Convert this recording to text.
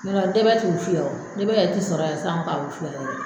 Ɲɔtɛ ntɛbɛ ti wusu yan o ntɛbɛ yɛrɛ ti sɔrɔ yan sisan k'a wusu